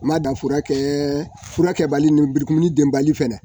U ma dan furakɛ fura kɛbali lenburukumuni denbali fɛnɛ